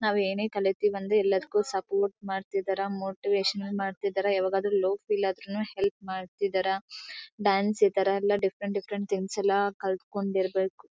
ನಾವು ಏನೇ ಕಲೀತಿವಿ ಅಂದ್ರೆ ಸಪೋರ್ಟ್ ಮಾಡ್ತಿದಾರಾ ಮೋತಿವಷನ್ ಮಾಡ್ತಿದಾರಾ ಯಾವಾಗಾದ್ರೂ ಲವ್ ಫೇಲ್ಯೂರ್ ಆದ್ರೂ ನು ಹೆಲ್ಪ್ ಮಾಡ್ತಿದಾರಾ ಡಾನ್ಸ್ ಈ ತರ ಡಿಫೆರೆಂಟ್ ಡಿಫೆರೆಂಟ್ ಥಿಂಗ್ಸ್ ಎಲ್ಲಾ ಕಲ್ತ್ಕೊಂಡ್ ಇರ್ಬೇಕು.